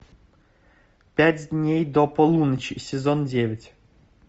пять дней до полуночи сезон девять